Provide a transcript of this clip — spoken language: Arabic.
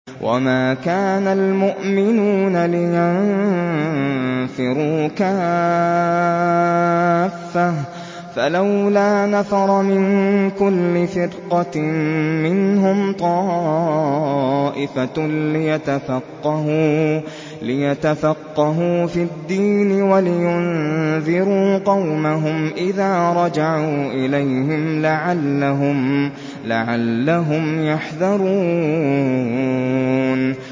۞ وَمَا كَانَ الْمُؤْمِنُونَ لِيَنفِرُوا كَافَّةً ۚ فَلَوْلَا نَفَرَ مِن كُلِّ فِرْقَةٍ مِّنْهُمْ طَائِفَةٌ لِّيَتَفَقَّهُوا فِي الدِّينِ وَلِيُنذِرُوا قَوْمَهُمْ إِذَا رَجَعُوا إِلَيْهِمْ لَعَلَّهُمْ يَحْذَرُونَ